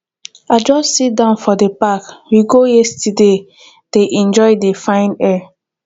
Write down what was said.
i just sit down for the park we go yesterday dey enjoy the fine air